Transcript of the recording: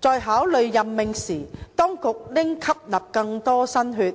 在考慮任命時，當局應吸納更多新血；